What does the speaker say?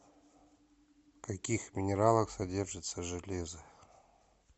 в каких минералах содержится железо